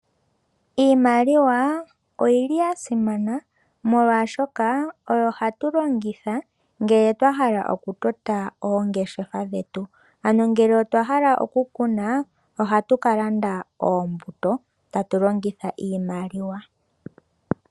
Iimaliwa oyili ya simana molwaashoka oyo hatu longitha ngele twa hala okutota oongeshefa dhetu. Ano ngele otwa hala oku kuna ohatu ka landa oombuto tatu longitha iimaliwa.